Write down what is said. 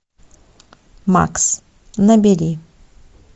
макс набери